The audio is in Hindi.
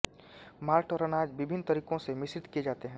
मॉल्ट और अनाज विभिन्न तरीकों से मिश्रित किए जाते हैं